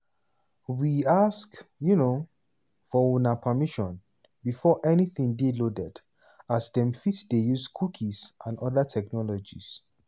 we ask um for una permission before anytin dey loaded as dem fit dey use cookies and oda technologies.